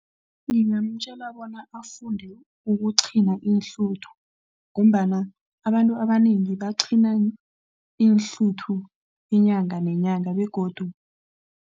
Ngingamtjela bona afunde ukuqhina iinhluthu ngombana abantu abanengi baqhina iinhluthu inyanga nenyanga begodu.